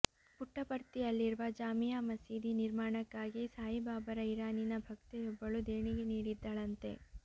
ಪುಟ್ಟಪರ್ತಿಯಲ್ಲಿರುವ ಜಾಮಿಯಾ ಮಸೀದಿ ನಿರ್ಮಾಣಕ್ಕಾಗಿ ಸಾಯಿಬಾಬಾರ ಇರಾನಿನ ಭಕ್ತೆಯೊಬ್ಬಳು ದೇಣಿಗೆ ನೀಡಿದ್ದಳಂತೆ